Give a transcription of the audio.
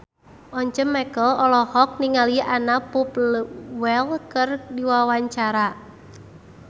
Once Mekel olohok ningali Anna Popplewell keur diwawancara